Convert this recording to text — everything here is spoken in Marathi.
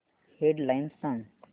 हेड लाइन्स सांग